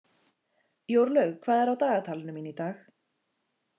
Jórlaug, hvað er á dagatalinu mínu í dag?